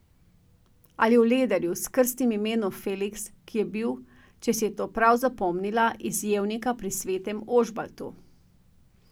Ali o Lederju, s krstnim imenom Feliks, ki je bil, če si je to prav zapomnila, iz Jevnika pri Svetem Ožbaltu.